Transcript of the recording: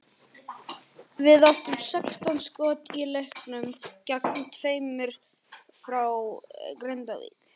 Við áttum sextán skot í leiknum gegn tveimur frá Grindavík.